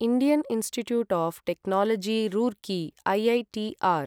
Indian Institute of Technology Roorkee IITR